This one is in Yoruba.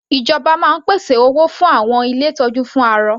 Ìjọba máa ń pèsè owó fún àwọn ilé ìtọ́jú fún arọ.